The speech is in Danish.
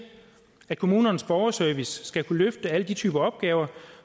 at kommunernes borgerservice skal kunne løfte alle de typer opgaver